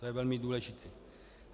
To je velmi důležité.